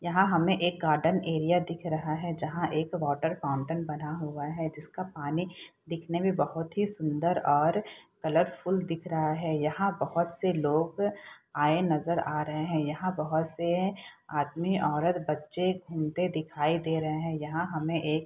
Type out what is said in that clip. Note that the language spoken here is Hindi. यहाँ हमें एक गार्डन एरिया दिख रहा है जहाँ एक वाटर फाउंटेन बना हुआ है जिसका पानी देखने में बहुत ही सुंदर और कलरफुल दिख रहा है यहाँ बहुत से लोग आए नजर आ रहे हैं यहाँ बहुत से आदमी औरत बच्चे घूमते दिखाई दे रहे हैं यहाँ हमें एक --